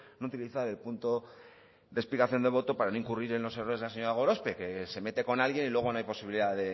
no utilizar el punto de explicación de voto para no incurrir en los errores de la señora gorospe que se mete con alguien y luego no hay posibilidad